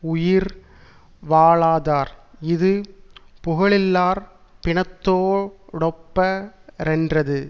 உயிர் வாழாதார் இது புகழில்லார் பிணத்தோ டொப்ப ரென்றது